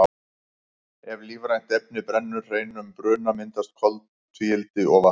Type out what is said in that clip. ef lífrænt efni brennur hreinum bruna myndast koltvíildi og vatn